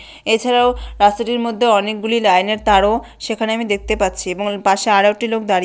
এছাড়াও রাস্তাটির মধ্যে অনেকগুলি লাইনের তারও- সেখানে আমি দেখতে পাচ্ছি এবং পাশে আরও একটি লোক দাড়িয়ে--